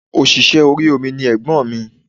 Òṣìṣẹ́ orí omi ni ègbọ́n mi